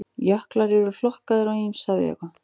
Jöklar eru flokkaðir á ýmsa vegu.